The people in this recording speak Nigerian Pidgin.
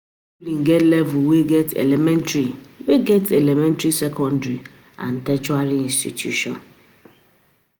schooling get level we get elementary, we get elementary, second and tertiary institution.